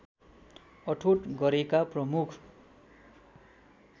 अठोट गरेका प्रमुख